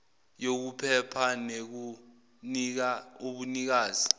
yokuphepha nekunika ubunikazi